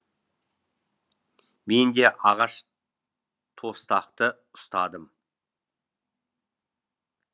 мен де ағаш тостақты ұстадым